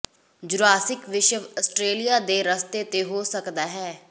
Jurassic ਵਿਸ਼ਵ Australia ਦੇ ਰਸਤੇ ਤੇ ਹੋ ਸਕਦਾ ਹੈ